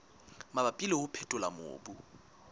mabapi le ho phethola mobu